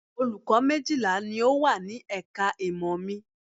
Olùkọ́ méjìlá ni ó wà ní ẹ̀ka ìmọ̀ mi